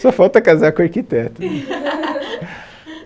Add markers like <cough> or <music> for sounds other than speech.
Só falta casar com arquiteto. <laughs>